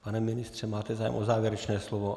Pane ministře, máte zájem o závěrečné slovo?